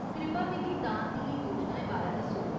कृपा मिगी दान दियें योजनाएं बारै दस्सो।